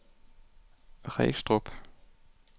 Regstrup